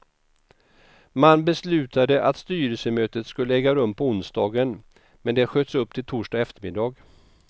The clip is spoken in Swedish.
Man beslutade att styrelsemötet skulle äga rum på onsdagen, men det sköts upp till torsdag eftermiddag.